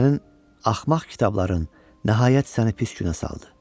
Sənin axmaq kitabların nəhayət səni pis günə saldı.